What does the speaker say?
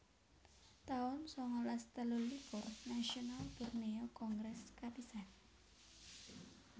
taun sangalas telulikur Nasional Borneo Kongres kapisan